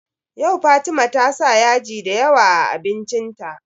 Yau Fatima ta sa yaji da yawa a abincin ta